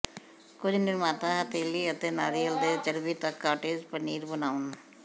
ਕੁਝ ਨਿਰਮਾਤਾ ਹਥੇਲੀ ਅਤੇ ਨਾਰੀਅਲ ਦੇ ਚਰਬੀ ਤੱਕ ਕਾਟੇਜ ਪਨੀਰ ਬਣਾਉਣ